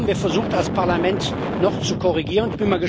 Da haben wir versucht, als Parlament noch zu korrigieren.